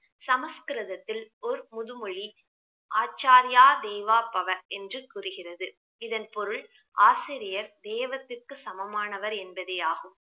சமஸ்கிருதத்தில் ஓர் முதுமொழி ஆச்சாரியார் தேவா பவ என்று கூறுகிறது இதன் பொருள் ஆசிரியர் தேவத்துக்கு சமமானவர் என்பதே ஆகும்